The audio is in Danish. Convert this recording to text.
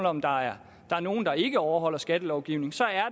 om der er nogle der ikke overholder skattelovgivningen så er